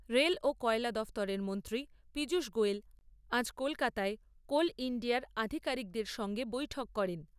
Rail ও কয়লা দফতরের মন্ত্রী পীযূষ গোয়েল আজ কলকাতায় কোল ইণ্ডিয়ার আধিকারিকদের সঙ্গে বৈঠক করেন।